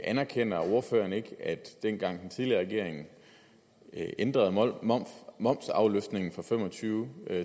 anerkender ordføreren ikke at dengang den tidligere regering ændrede momsafløftningen fra fem og tyve